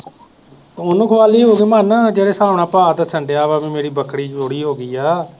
ਉਹਨੂੰ ਖਵਾ ਲਈ ਹੋਊਗੀ ਮਨ ਜਿਹੜੇ ਹਿਸਾਬ ਨਾਲ ਭਾਅ ਤਾਂ ਵਾ ਮੇਰੀ ਬੱਕਰੀ ਚੋਰੀ ਹੋ ਗਈ ਹੈ